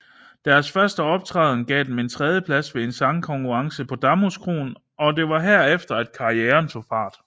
Deres første optræden gav dem en tredjeplads ved en sangkonkurrence på Damhuskroen og det var herefter at karrieren tog fart